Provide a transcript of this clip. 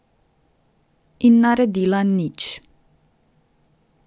In naredila nič.